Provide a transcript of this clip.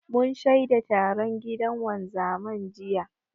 Mun shaida taron gidan wanzaman, jiya.